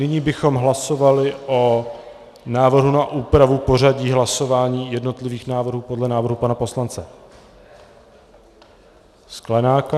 Nyní bychom hlasovali o návrhu na úpravu pořadí hlasování jednotlivých návrhů podle návrhu pana poslance Sklenáka?